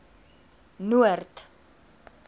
noord